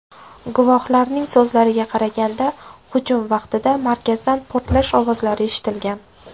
Guvohlarning so‘zlariga qaraganda, hujum vaqtida markazdan portlash ovozlari eshitilgan.